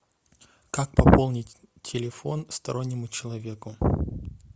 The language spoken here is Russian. как пополнить телефон стороннему человеку